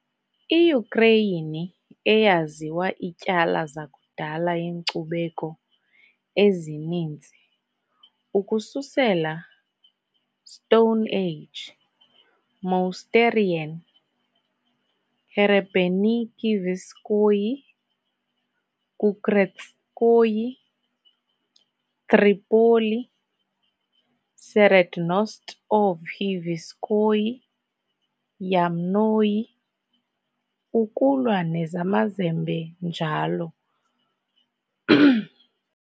IYukreyini eyaziwa ityala zakudala yeenkcubeko ezininzi ukususela Stone Age - Mousterian, hrebenykivskoyi, kukretskoyi, Tripoli, serednostohivskoyi, yamnoyi, ukulwa nezamazembe, njl